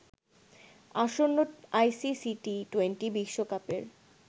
আসন্ন আইসিসি টি-২০ বিশ্বকাপের